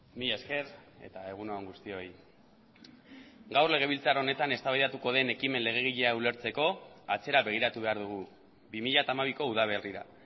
mila esker eta egun on guztioi gaur legebiltzar honetan eztabaidatu den ekimen legegilea ulertzeko atzera begiratu behar dugu bi mila hamabiko udaberrira